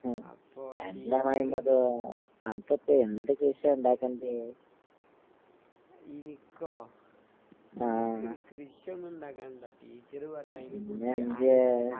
ഉം എന്താ മൊയ്‌മ്മദേ അനക്കിപ്പ എന്ത് കൃഷിയാ ഇണ്ടാക്കേണ്ടിയെ? ആഹ്. പിന്നെന്ത്യേ?